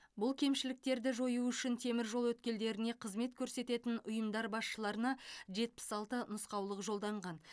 бұл кемшіліктерді жою үшін теміржол өткелдеріне қызмет көрсететін ұйымдар басшыларына жетпіс алты нұсқаулық жолданған